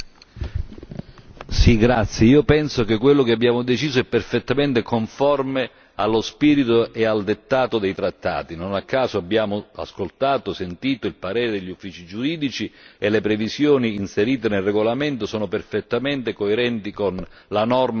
Signor Presidente, onorevoli colleghi, penso che quello che abbiamo deciso è perfettamente conforme allo spirito e al dettato dei trattati. Non a caso, abbiamo ascoltato, sentito il parere di uffici giuridici e le previsioni inserite nel regolamento sono perfettamente coerenti con la norma del trattato.